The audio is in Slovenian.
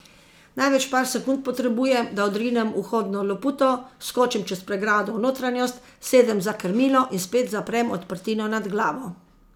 Največ par sekund potrebujem, da odrinem vhodno loputo, skočim čez pregrado v notranjost, sedem za krmilo in spet zaprem odprtino nad glavo.